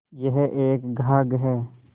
यह एक घाघ हैं